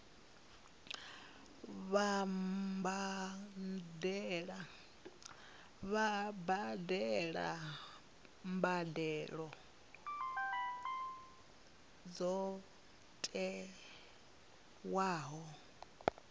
vha badele mbadelo dzo tiwaho